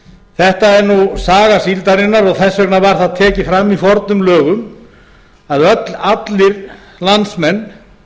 þetta er nú saga síldarinnar og þess vegna var það tekið fram í fornum lögum að allir landsmenn